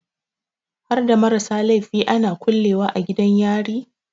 Harda marasa laifi ana kulle wa a gidan yari?